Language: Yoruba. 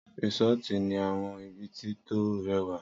Risọ̀ti ni àwọn ibiti tó rẹwa